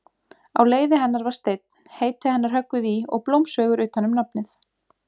Á leiði hennar var steinn, heiti hennar höggvið í og blómsveigur utan um nafnið.